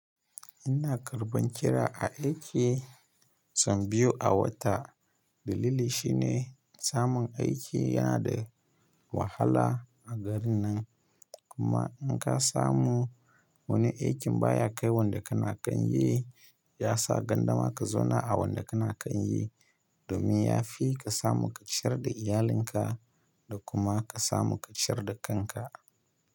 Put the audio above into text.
Ina karɓan kira a aiki sau biyu a wata. Dalili shi ne samun aiki yana da wahala a garin nan. Kuma in ka samu wani aikin baya kai wanda kana kan yi, ya sa gandama ka zauna a wanda kana kan yi domin ya fi ka samu ka ciyar da iyalinka da kuma ka samu ka ciyar da kanka.